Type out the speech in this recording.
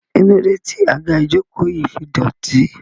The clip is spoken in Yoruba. kílódé tí àga ìjokòó yìí fi dọ̀tí?